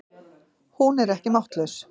Hún er ekki máttlaus.